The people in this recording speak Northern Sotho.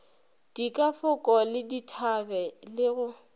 dikafoko le dithabe le go